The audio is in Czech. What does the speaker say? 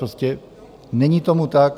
Prostě není tomu tak.